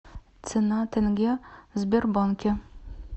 цена тенге в сбербанке